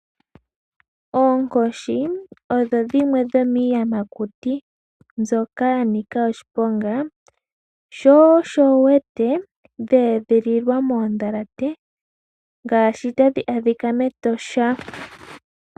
Oonkoshi odho dhimwe dhomiiyamakuti mbyoka ya nika oshiponga shosho wuwete dheedhililwa moondhalate ngaashi tadhi adhika mEtosha.